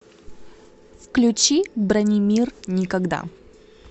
включи бранимир никогда